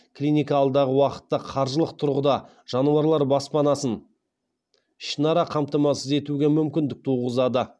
клиника алдағы уақытта қаржылық тұрғыда жануарлар баспанасын ішінара қамтамасыз етуге мүмкіндік туғызады